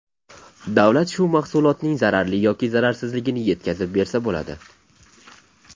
Davlat shu mahsulotning zararli yoki zararsizligini yetkazib bersa bo‘ladi.